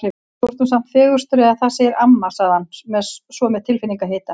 Þú ert nú samt fegurstur eða það segir amma sagði hann svo með tilfinningahita.